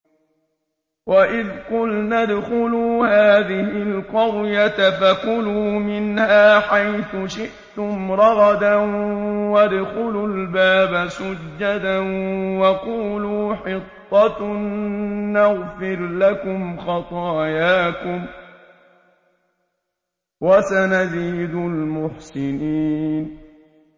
وَإِذْ قُلْنَا ادْخُلُوا هَٰذِهِ الْقَرْيَةَ فَكُلُوا مِنْهَا حَيْثُ شِئْتُمْ رَغَدًا وَادْخُلُوا الْبَابَ سُجَّدًا وَقُولُوا حِطَّةٌ نَّغْفِرْ لَكُمْ خَطَايَاكُمْ ۚ وَسَنَزِيدُ الْمُحْسِنِينَ